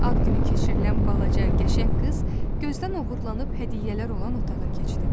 Ad günü keçirilən balaca, qəşəng qız gözdən oğurlanıb hədiyyələr olan otağa keçdi.